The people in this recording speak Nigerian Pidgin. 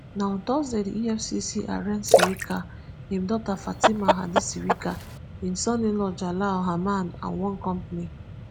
na on thursday di efcc arraign sirika im daughter fatima hadi sirika im soninlaw jalal hamma and one company.